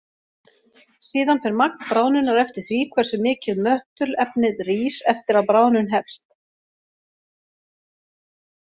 Síðan fer magn bráðnunar eftir því hversu mikið möttulefnið rís eftir að bráðnun hefst.